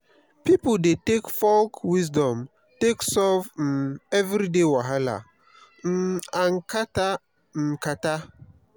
pipo dey take folk wisdom take solve um everyday wahala um and kata um kata.